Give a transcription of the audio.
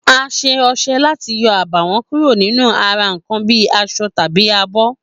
A s̩e o̩s̩e̩ láti yo̩ àbàwó̩n kúrò lára nǹkan bíi as̩o̩ tàbí abó̩